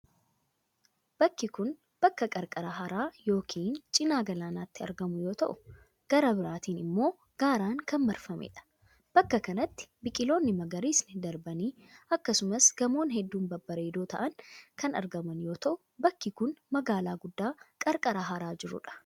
Bakki kun, bakka qarqara hara yokin cinaa galaanaatti argamu yoo ta'u, gara biraatin immoo gaaran kan marfamee dha. Bakka kanatti biqiloonni magariisni darbanii akkasumas gamoo hedduun babbareedoo ta'an kan argaman yoo ta'u, bakki kun magaalaa guddaa qarqara haraa jiruu dha.